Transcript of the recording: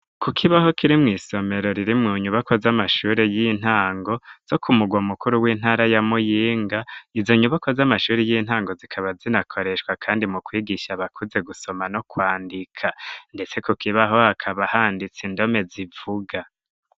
Ku kibaho kiri mu isomero riri mu nyubako z'amashuri y'intango zo ku mugwa mukuru w'intara ya muyinga izo nyubako z'amashuri y'intango zikaba zinakoreshwa kandi mu kwigisha bakuze gusoma no kwandika ndetse ku kibaho akaba handitsa indome zivuga.